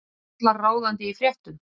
Karlar ráðandi í fréttum